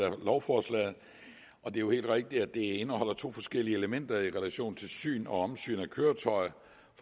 af lovforslaget det er helt rigtigt at det indeholder to forskellige elementer i relation til syn og omsyn af køretøjer